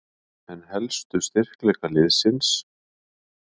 En helstu styrkleika liðsins?